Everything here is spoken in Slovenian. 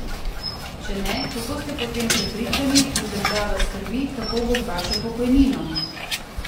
Če ne, kako ste potem prepričani, da država skrbi, kako bo z vašo pokojnino?